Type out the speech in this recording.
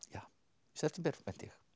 september held ég takk